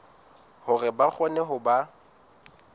hore ba kgone ho ba